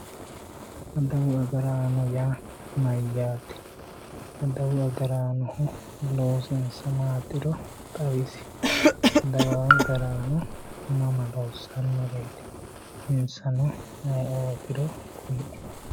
adawu agaraano yaa mayyaate? adawu agaraanohu loosinsa maatiro xawisi, adawu agaraano mama loossannoreeti insano ayeeootiro kulie.